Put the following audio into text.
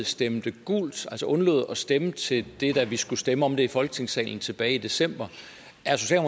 stemte gult altså undlod at stemme til det da vi skulle stemme om det i folketingssalen tilbage i december